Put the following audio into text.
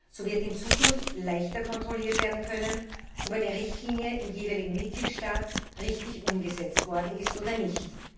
So wird in Zukunft leichter kontrolliert werden können, ob eine Richtlinie im jeweiligen Mitgliedstaat richtig umgesetzt worden ist oder nicht.